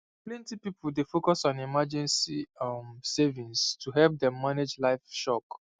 plenty people dey focus on emergency um savings to help them manage life shock